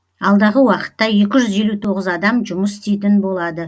алдағы уақытта екі жүз елу тоғыз адам жұмыс істейтін болады